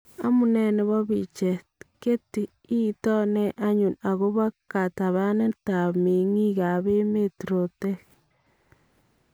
Amunee nebo picheet , Getty itoon nee anyun akobo katabanetab mengiikab emeet rootek?